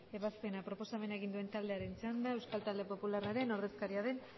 ebazpena proposamen egin duen taldearen txanda euskal talde popularraren ordezkaria den